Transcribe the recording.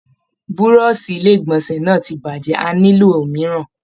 Burọ̀sì ilé igbọnsẹ náà ti bajẹ, a nilo òmíràn.